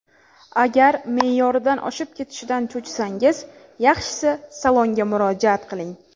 Agar me’yoridan oshib ketishidan cho‘chisangiz, yaxshisi salonga murojaat qiling.